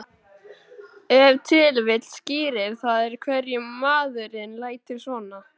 Ef til vill skýrir það af hverju maðurinn lætur svona.